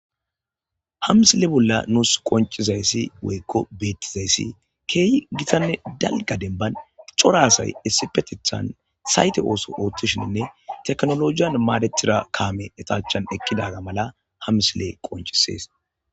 hamsile bolla nuus qoncizayssi woykko beettizayssi keeyi gitanne dalga denban coraasay essifetethan sayte ooso oottoshinnne teknolojiyan maadetira kaame etachan ekkidaga mala hamsile qoncisees